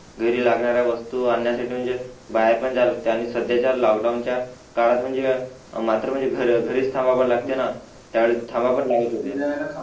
घरी लागणाऱ्या वस्तू आण्यासाठी म्हणजे बाहेर पण जावं लागते आणि सध्याच्या लॉक डाउन च्या काळात म्हणजे मात्र म्हणजे घर घरीच थांबावं लागते त्यावेळी थांबा पण लागेल होते